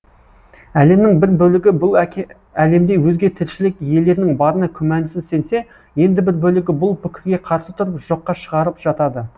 әлемнің бір бөлігі бұл әлемде өзге тіршілік иелерінің барына күмәнсіз сенсе енді бір бөлігі бұл пікірге қарсы тұрып жоққа шығарып жатады